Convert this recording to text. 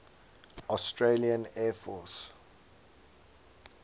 australian air force